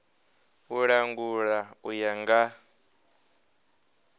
u langula u ya nga